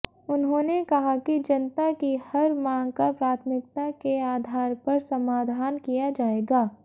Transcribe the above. उन्होंने कहा कि जनता की हर मांग का प्राथमिकता के आधार पर समाधान किया जाएगा